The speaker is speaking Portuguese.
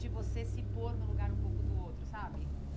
de você se pôr no lugar um pouco do outro, sabe?